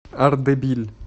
ардебиль